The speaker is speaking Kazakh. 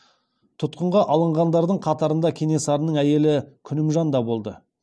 тұтқынға алынғандардың қатарында кенесарының әйелі күнімжан да болды